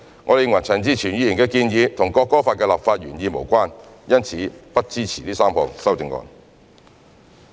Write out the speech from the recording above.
我們認為陳志全議員的建議與《國歌法》的立法原意無關，因此不支持這3項修正案。